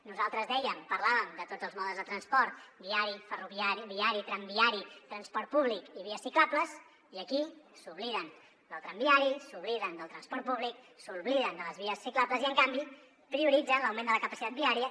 nosaltres dèiem parlàvem de tots els modes de transport viari tramviari transport públic i vies ciclables i aquí s’obliden del tramviari s’obliden del transport públic s’obliden de les vies ciclables i en canvi prioritzen l’augment de la capacitat viària